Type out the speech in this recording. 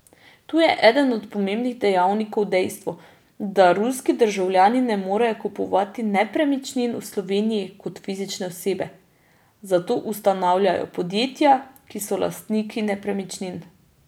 Tu je eden od pomembnih dejavnikov dejstvo, da ruski državljani ne morejo kupovati nepremičnin v Sloveniji kot fizične osebe, zato ustanavljajo podjetja, ki so lastniki nepremičnin.